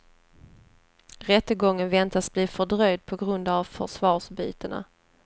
Rättegången väntas bli fördröjd på grund av försvararbytena.